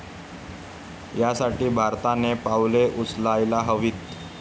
यासाठी भारताने पावले उचलायला हवीत.